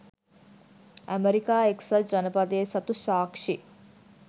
ඇමෙරිකා එක්සත් ජනපදය සතු සාක්‍ෂි